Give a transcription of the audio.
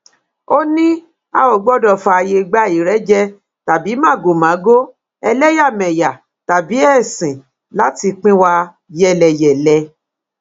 ó ní a ò gbọdọ fààyè gba ìrẹjẹ tàbí màgòmágó ẹlẹyàmẹyà tàbí ẹsìn láti pín wa yẹlẹyẹlẹ